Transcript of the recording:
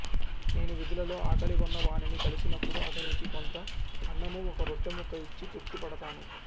నేను వీధులలో ఆకలిగొన్న వానిని కలిసినపుడు అతనికి కొంత అన్నము ఒక రొట్టెముక్క ఇచ్చి తృప్తిపడతాను